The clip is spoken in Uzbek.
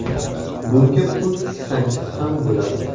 Bunga pul tiksangiz ham bo‘ladi.